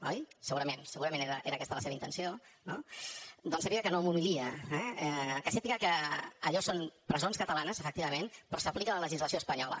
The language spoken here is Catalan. oi segurament segurament era aquesta la seva intenció no doncs sàpiga que no m’humilia eh que sàpiga que allò són presons catalanes efectivament però s’hi aplica la legislació espanyola